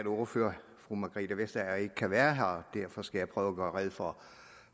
ordfører fru margrethe vestager ikke kan være her derfor skal jeg prøve at gøre rede for